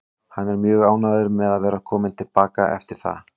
Hann er mjög ánægður með að vera kominn til baka eftir það.